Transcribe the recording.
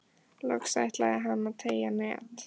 Loks ætlaði hann að teygja net